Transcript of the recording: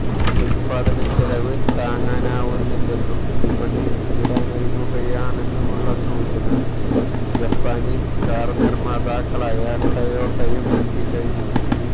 ഉത്പാദന ചെലവ് താങ്ങാനാവുന്നില്ലെന്നും വിപണി വിടാനൊരുങ്ങുകയാണെന്നുള്ള സൂചന ജാപ്പനീസ് കാര്നിര്മാതാക്കളായ ടൊയോട്ടയും നല്കിക്കഴിഞ്ഞു